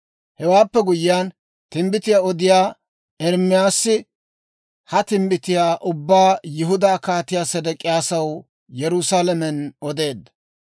Hewaappe guyyiyaan, timbbitiyaa odiyaa Ermaasi ha timbbitiyaa ubbaa Yihudaa Kaatiyaa Sedek'iyaasaw Yerusaalamen odeedda.